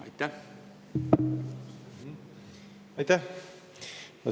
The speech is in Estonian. Aitäh!